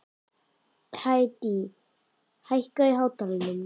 Hedí, hækkaðu í hátalaranum.